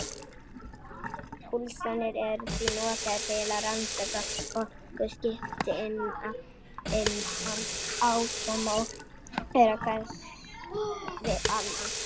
Púlsarnir eru því notaðir til að rannsaka orkuskipti innan atóma og þeirra hvers við annað.